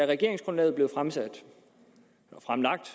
regeringsgrundlaget blev fremlagt